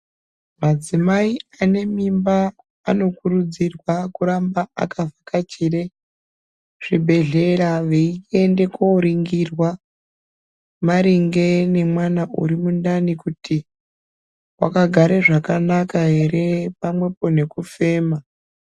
Madzimai anemimba anokurudzirwa kuramba vakabvakachire zvibhedhlera veiende kuoringirwa maringe nemwana uri mundani kuti wakagare zvakanaka here pamwepo nekufema.